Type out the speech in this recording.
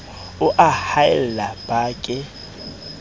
o a haella ba ke